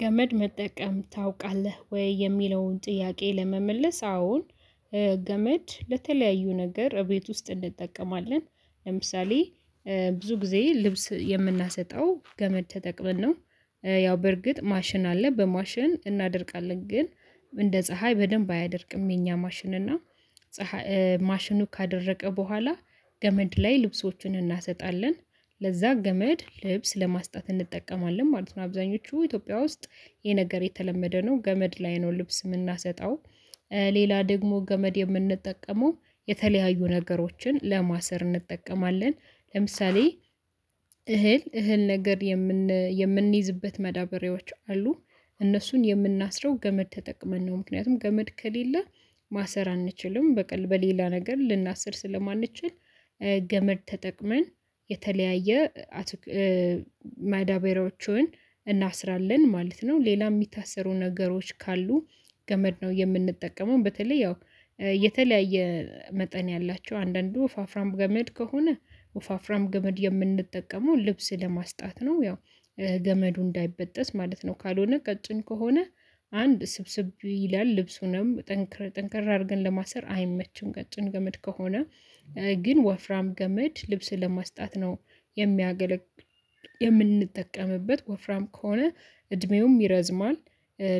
ገመድ መጠቀም ታውቃለህ ወይ? የሚለውን ጥያቄ ለመመለስ አሁን ገመድ ለተለያዩ ነገር እቤት ውስጥ እንጠቀማለን። ለምሳሌ ብዙ ጊዜ ልብስ የምናሰጠው ገመድ ተጠቅመን ነው። ያው በርግጥ ማሽን አለ በማሽን እናደርቃለን ግን እንደ ፀሀይ በደንብ አያደርቅም የእኛ ማሽን እና ማሽኑ ካደረቀ በኋላ ገመድ ላይ ልብሶችን እናሰጣለን። ለዚያ ገመድ ልብስ ለማስጣት እንጠቀማለን ማለት ነው። አብዛኞቹ ኢትዮጵያ ውስጥ ይህ ነገር የተለመደ ነው ገመድ ላይ ነው ልብስ የምናሰጣው። ሌላ ደግሞ ገመድ የምንጠቀመው የተለያዩ ነገሮችን ለማሰር እንጠቀማለን። ለምሳሌ እህል እህል ነገር የምን የምንይዝበት መዳበሬዎች አሉ እነሱን የምናስረው ገመድ ተጠቅመን ነው። ምክንያቱም ገመድ ከሌለ ማሰር አንችልም በቀል በሌላ ነገር ልናስር ስለማንችል ገመድ ተጠቅመን የተለያየ አት ማዳበሪያዎቹን እናስራለን ማለት ነው። ሌላ የሚታሰሩ ነገሮች ካሉ ገመድ ነው የምንጠቀመው። በተለይ ያው የተለያየ መጠን ያላቸው አንዳንዱ ወፋፍራም ገመድ ከሆነ ወፋፍራም ገመድ የምንጠቀመው ልብስ ለማስጣት ነው። ያው ገመዱ እንዳይበጠስ ማለት ነው። ካልሆነ ቀጭን ከሆነ አንድ ስብስብ ይላል ልብሱንም ጠንከሪ ጠንከር አድርገን ለማሰር አይመችም ገጭን ገመድ ከሆነ ግን ወፍራም ገመድ ልብስን ለማስጣት ነው። የም የምንጠቀምበት ወፍራም ከሆነ እድሜውም ይረዝማል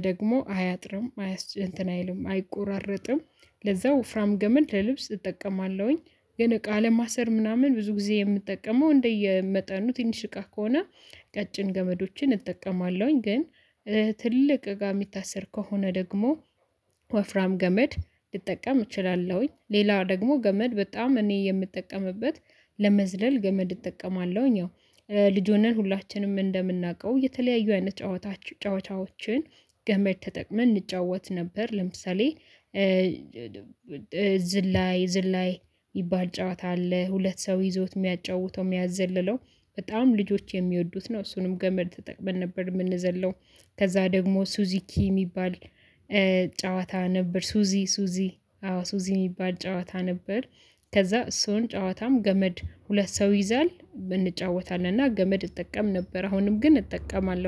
ደግሞ አያጥርም አያስ እንትን አይልም አይቆራረጥም። ለዚያ ወፍራም ገመድ ለልብስ እጠቀማለሁኝ። ግን እቃ ለማሰር ምናምን ብዙ ጊዜ የምጠቀመው እንደየመጠኑ ትንሽ እቃ ከሆነ ቀጭን ገመዶችን እጠቀማለሁኝ። ግን ትልቅ እቃ የሚታሰር ከሆነ ደግሞ ወፍራም ገመድ ልጠቀም እችላለሁኝ። ሌላው ደግሞ ገመድ በጣም እኔ የምጠቀምበት ለመዝለል ገመድ እጠቀማለሁኝ። ያው ልጅ ሆነን ሁላችንም እንደምናውቀው የተለያዩ አይነት ጨዋታ ጨዋታዎችን ገመድ ተጠቅመን እንጫወት ነበር። ለምሳሌ ዝላይ ዝላይ ሚባል ጨዋታ አለ። ሁለት ሰው ይዞት የሚያጫውተው የሚያዘልለው በጣም ልጆች የሚወዱት ነው። እሱንም ገመድ ተጠቅመን ነበር። የምንዘለው ከዚያ ደግሞ ሱዙኪ የሚባል ጨዋታ ነበር ሱዚ ሱዚ አዎ ሱዚ ምባል ጨዋታ ነበር። ከዚያ እሱን ጨዋታም ገመድ ሁለት ሰው ይዛል እንጫወታለንና ገመድ እጠቀም ነበር። አሁንም ግን እጠቀማለሁ